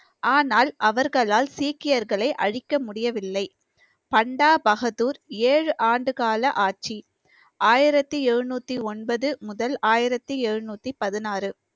ஆனால் அவர்களால் சீக்கியர்களை அழிக்க முடியவில்லை பண்டா பகதூர் ஏழு ஆண்டு கால ஆட்சி ஆயிரத்தி எழுநூத்தி ஒன்பது முதல் ஆயிரத்தி எழுநூத்தி பதினாறு